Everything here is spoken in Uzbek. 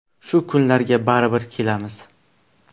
Shu kunlarga baribir kelamiz”.